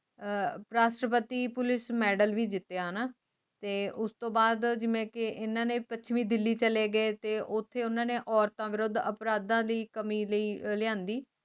ਅਹ ਰਾਸ਼ਟਪਤੀ Police Medal ਵੀ ਜਿਤਿਆ ਹਣਾ ਤੇ ਉਸਤੋਂ ਬਾਦ ਜਿਵੇ ਕਿ ਇਹਨਾਂ ਨੇ ਪੱਛਮੀ ਦਿੱਲੀ ਚਲੇ ਗਏ ਤੇ ਓਥੇ ਓਹਨਾ ਨੇ ਔਰਤਾਂ ਦੇ ਵਿਰੁੱਧ ਅਪਰਾਧਾਂ ਦੀ ਕਮੀ ਲਈ ਲਿਆਂਦੀ